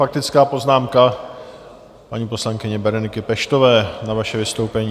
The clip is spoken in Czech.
Faktická poznámka paní poslankyně Bereniky Peštové na vaše vystoupení.